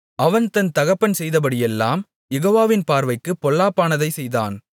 அவன் தன் தகப்பன் செய்தபடியெல்லாம் யெகோவாவின் பார்வைக்குப் பொல்லாப்பானதைச் செய்தான்